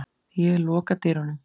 Ég loka dyrunum.